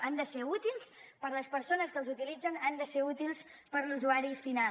han de ser útils per a les persones que els utilitzen han de ser útils per a l’usuari final